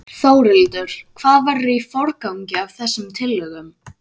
Þórhildur: Hvað verður í forgangi af þessum tillögum?